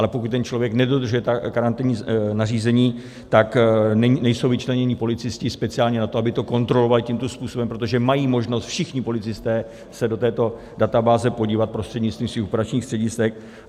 Ale pokud ten člověk nedodržuje karanténní nařízení, tak nejsou vyčleněni policisté speciálně na to, aby to kontrolovali tímto způsobem, protože mají možnost všichni policisté se do této databáze podívat prostřednictvím svých operačních středisek